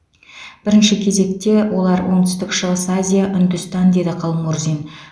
бірінші кезекте олар оңтүстік шығыс азия үндістан деді қалмұрзин